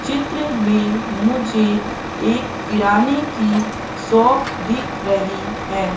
चित्र में मुझे एक किराने की शॉप दिख रही है।